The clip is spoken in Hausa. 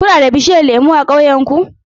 Kuna da bishiyun lemu a ƙauyenku?